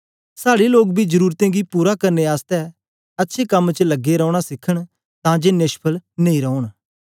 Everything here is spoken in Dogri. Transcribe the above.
साड़े लोग बी जरूरतें गी पूरा करने आसतै अच्छे कम्में च लगे रौना सीखन तां जे नेष्फल नेई रौन